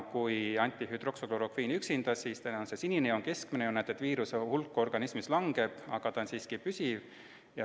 Kui aga anti ainult hüdroksüklorokviini – sinine joon, keskmine joon –, siis viiruse hulk organismis kahanes, aga ta jäi siiski püsima.